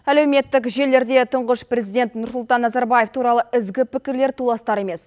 әлеуметтік желілерде тұңғыш президент нұрсұлтан назарбаев туралы ізгі пікірлер толастар емес